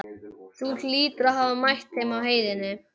Þú hlýtur að hafa mætt þeim á heiðinni.